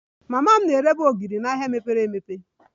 Mama m na-erebu ogiri n'ahịa mepere emepe